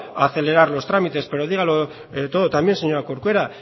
a acelerar los trámites pero dígalo todo también señora corcuera